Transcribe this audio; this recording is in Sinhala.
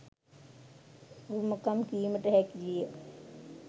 උරුමකම් කීමට හැකිවිය.